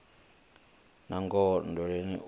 nangoho nndweleni o ri u